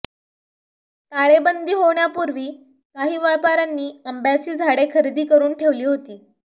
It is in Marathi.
ताळेबंदी होण्यापूर्वी काही व्यापार्यांनी आंब्याची झाडे खरेदी करून ठेवली होती